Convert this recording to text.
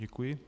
Děkuji.